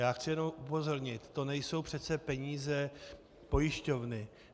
Já chci jenom upozornit - to nejsou přece peníze pojišťovny.